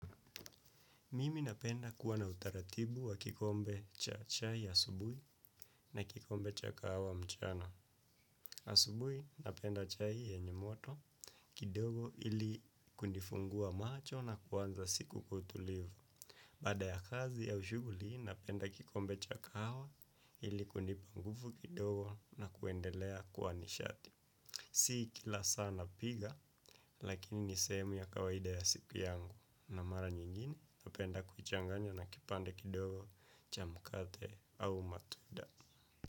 Mimi napenda kuwa na utaratibu wa kikombe cha chai ya asubuhi na kikombe cha kahawa mchana. Asubuhi napenda chai yenyemoto kidogo ili kunifungua macho na kuanza siku ikue tulivu. Baada ya kazi au shughuli, napenda kikombe cha kahawa ili kunipa nguvu kidogo na kuendelea kwa nishati. Si kila saa piga, lakini nisehemu ya kawaida ya siku yangu na mara nyingine napenda kuchanganya na kipande kidogo cha mkate au matunda.